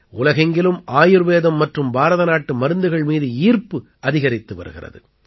உலகெங்கிலும் ஆயுர்வேதம் மற்றும் பாரதநாட்டு மருந்துகள் மீது ஈர்ப்பு அதிகரித்து வருகிறது